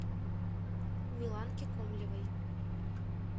миланке комлевой